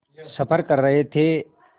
सफ़र कर रहे थे